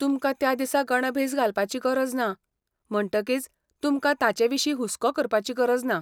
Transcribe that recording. तुमकां त्या दिसा गणभेस घालपाची गरज ना, म्हणटकीच तुमकां तांचेविशीं हुस्को करपाची गरज ना.